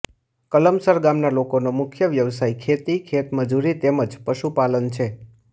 કલમસર ગામના લોકોનો મુખ્ય વ્યવસાય ખેતી ખેતમજૂરી તેમ જ પશુપાલન છે